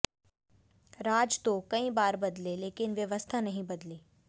राज तो कई बार बदले लेकिन व्यवस्था नहीं बदली